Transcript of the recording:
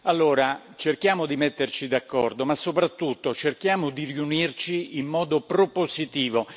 Allora cerchiamo di metterci d'accordo ma soprattutto cerchiamo di riunirci in modo propositivo.